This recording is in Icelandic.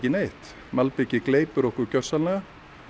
neitt malbikið gleypir okkur gjörsamlega